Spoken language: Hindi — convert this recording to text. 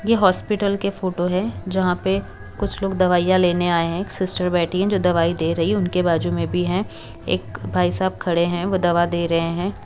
ये हॉस्पिटल के फोटो है जहां पे कुछ लोग दवाइयां लेने आए एक सिस्टर बैठी है जो दवाई दे रही उनके बाजू में भी हैं एक भाई साहब खड़े है वो दवा दे रहे हैं।